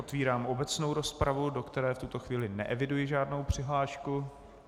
Otevírám obecnou rozpravu, do které v tuto chvíli neeviduji žádnou přihlášku.